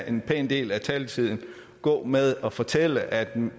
en pæn del af taletiden gå med at fortælle at